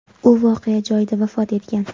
U voqea joyida vafot etgan.